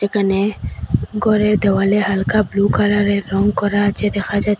এখানে ঘরের দেওয়ালে হালকা ব্লু কালার -এর রঙ করা আছে দেখা যাচ--